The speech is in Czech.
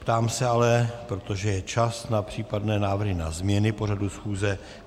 Ptám se ale, protože je čas na případné návrhy na změny pořadu schůze.